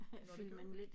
Nåh det gjorde det